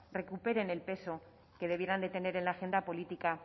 recuperen el peso que debieran de tener en la agenda política